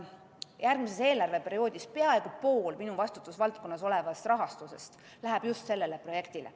Järgmisel eelarveperioodil läheb peaaegu pool minu vastutusvaldkonnas olevast rahastusest just sellele projektile.